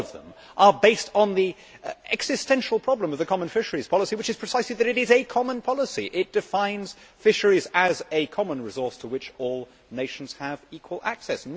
All of these things are based on the existential problem of the common fisheries policy, which is precisely that it is a common policy it defines fisheries as a common resource to which all nations have equal access.